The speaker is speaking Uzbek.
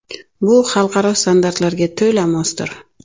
Bu xalqaro standartlarga to‘la mosdir.